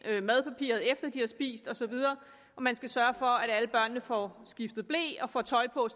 efter at de har spist og så videre og man skal sørge for at alle børnene får skiftet ble og får tøj på